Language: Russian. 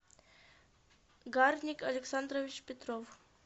гарник александрович петров